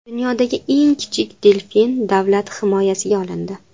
Dunyodagi eng kichik delfin davlat himoyasiga olindi.